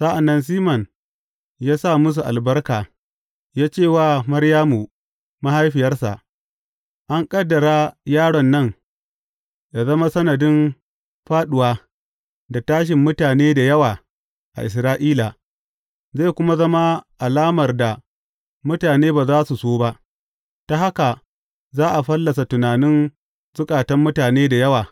Sa’an nan Siman ya sa musu albarka ya ce wa Maryamu mahaifiyarsa, An ƙaddara yaron nan yă zama sanadin fāɗuwa da tashin mutane da yawa a Isra’ila, zai kuma zama alamar da mutane ba za su so ba, ta haka za a fallasa tunanin zukatan mutane da yawa.